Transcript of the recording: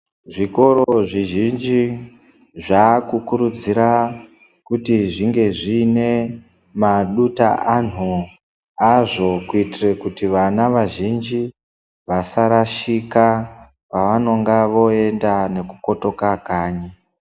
Zvikoro zvizhinji zvakukurudzira kuti zviine maduta anhu Azvo kuitire kuti vana vazhinji vasarashika pavanenge voenda nekukotoka kanyi.